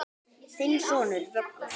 Þinn sonur, Vöggur.